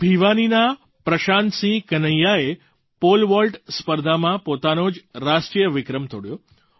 ભિવાનીના પ્રશાંતસિંહ કન્હૈયાએ pole vault સ્પર્ધામાં પોતાનો જ રાષ્ટ્રીય વિક્રમ તોડ્યો છે